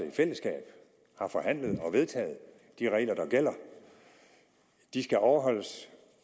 i fællesskab har forhandlet og vedtaget de regler der gælder de skal overholdes